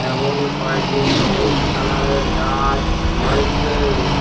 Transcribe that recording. এবং কয়টি সবুজ কালারের গাছ রয়েছে।